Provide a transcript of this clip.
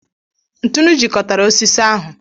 ntụnụ jikọtara osisi ahu.